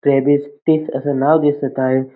फेव्हिस्टिक असं नाव दिसत आहे.